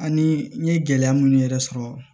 Ani n ye gɛlɛya munnu yɛrɛ sɔrɔ